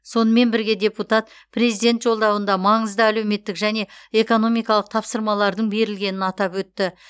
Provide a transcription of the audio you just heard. сонымен бірге депутат президент жолдауында маңызды әлеуметтік және экономикалық тапсырмалардың берілгенін атап өтті